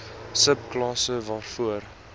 sub klasse waarvoor